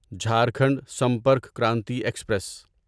Jharkhand Sampark Kranti express